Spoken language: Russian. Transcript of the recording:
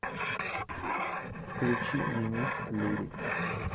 включи денис лирик